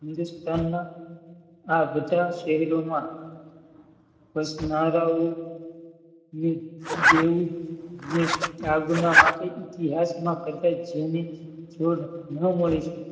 હિન્દુસ્તાનના આ બધા શહેરોમાં આજ્ઞા માટે ઇતિહાસમાં